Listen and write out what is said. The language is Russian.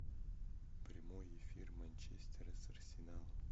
прямой эфир манчестера с арсеналом